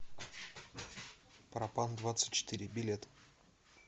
пропандвадцатьчетыре билет